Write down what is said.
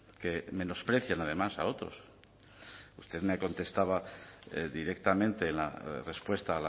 que menosprecien además a otros usted me contestaba directamente en la respuesta